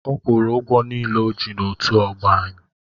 Ọ kwụrụ ụgwọ niile o ji n'otu ọgbọ anyị.